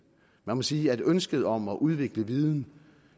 man må sige at ønsket om at udvikle viden